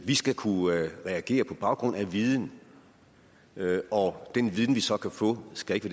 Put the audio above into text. vi skal kunne reagere på baggrund af viden og den viden vi så kan få skal ikke